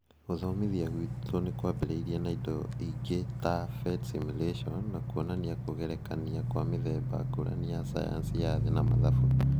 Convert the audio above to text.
Gũthomithia gwitũ nĩ kwambĩrĩirie na indo ingĩ ta PhET simulations, na kwonania kũgerekania kwa mĩthemba ngũrani ya sayansi ya thĩ na mathabu